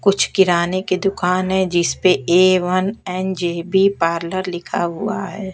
कुछ किराने की दुकान है जिसपे ऐ वन ऐन ज_ब पार्लर लिखा हुआ है।